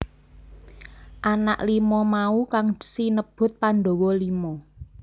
Anak lima mau kang sinebut Pandhawa Lima